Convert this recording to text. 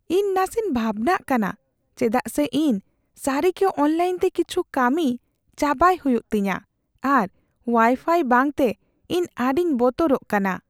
"ᱤᱧ ᱱᱟᱥᱮᱧ ᱵᱷᱟᱵᱱᱟᱜ ᱠᱟᱱᱟ ᱪᱮᱫᱟᱜ ᱥᱮ ᱤᱧ ᱥᱟᱨᱤᱜᱮ ᱚᱱᱞᱟᱭᱤᱱᱛᱮ ᱠᱤᱪᱷᱩ ᱠᱟᱹᱢᱤ ᱪᱟᱵᱟᱭ ᱦᱩᱭᱩᱜ ᱛᱤᱧᱟᱹ, ᱟᱨ ᱳᱣᱟᱭᱯᱷᱟᱭ ᱵᱟᱝᱛᱮ ᱤᱧ ᱟᱹᱰᱤᱧ ᱵᱚᱛᱚᱨᱚᱜ ᱠᱟᱱᱟ ᱾